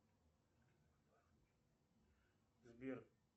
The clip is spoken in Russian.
сбер